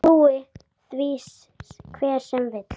Trúi því hver sem vill.